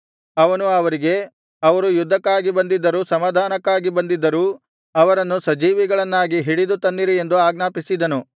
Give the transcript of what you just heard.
ಅವನು ಅವರಿಗೆ ಅವರು ಯುದ್ಧಕ್ಕಾಗಿ ಬಂದಿದ್ದರೂ ಸಮಾಧಾನಕ್ಕಾಗಿ ಬಂದಿದ್ದರೂ ಅವರನ್ನು ಸಜೀವಿಗಳನ್ನಾಗಿ ಹಿಡಿದು ತನ್ನಿರಿ ಎಂದು ಆಜ್ಞಾಪಿಸಿದನು